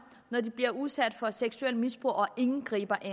når de bliver udsat for seksuelt misbrug og ingen griber